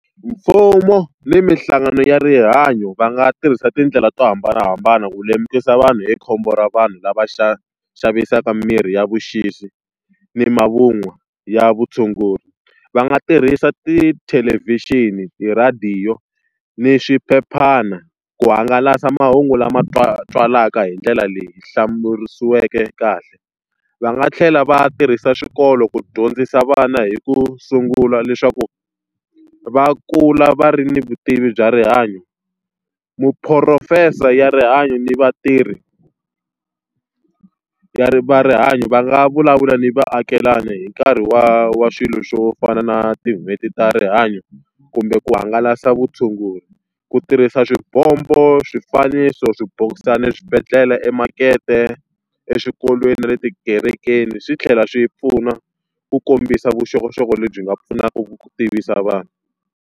Mfumo ni minhlangano ya rihanyo va nga tirhisa tindlela to hambanahambana ku lemukisa vanhu hi khombo ra vanhu lava xavisaka mirhi ya vuxisi ni mavun'wa ya vutshunguri. Va nga tirhisa tithelevhixini, ti radio, ni swiphephana ku hangalasa mahungu lama twalaka hi ndlela leyi hlamusiriweke kahle. Va nga tlhela va tirhisa xikolo ku dyondzisa vana hi ku sungula leswaku va kula va ri ni vutivi bya rihanyo. Muphurofesa ya rihanyo ni vatirhi ya va rihanyo va nga vulavula ni vaakelana hi nkarhi wa wa swilo swo fana na tin'hweti ta rihanyo, kumbe ku hangalasa vutshunguri. Ku tirhisa swibombo, swifaniso, swibokisana, eswibedhlele, emakete, exikolweni, na le tikerekeni swi tlhela swi pfuna ku kombisa vuxokoxoko lebyi nga pfunaka ku tivisa vanhu.